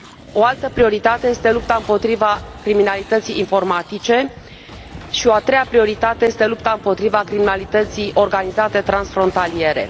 O altă prioritate este lupta împotriva criminalității informatice și o a treia prioritate este lupta împotriva criminalității organizate transfrontaliere.